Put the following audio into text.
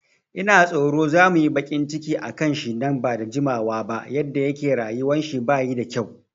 Ina tsoro za muyi baƙin ciki akan shi nan bada jimawa ba, yadda yake rayuwan shi bayi da kyau